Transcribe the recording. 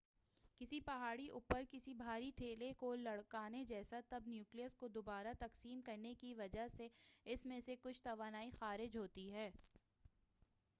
کسی پہاڑی اوپر کسی بھاری ٹھیلے کو لڑھکانے جیسا تب نیوکلئس کو دوبارہ تقسیم کرنے کی وجہ سے اس میں سے کچھ توانائی خارج ہوتی ہے